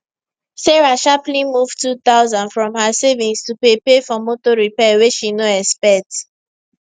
sarah sharply move 2000 from her savings to pay pay for motor repair way she no expect